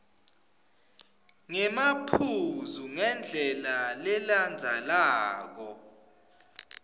ngemaphuzu ngendlela lelandzelelako